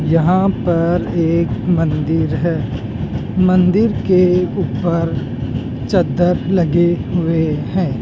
यहां पर एक मंदिर है मंदिर के ऊपर चद्दर लगे हुए हैं।